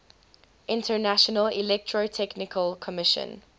international electrotechnical commission